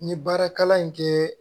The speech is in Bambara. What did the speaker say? N ye baara kalan in kɛ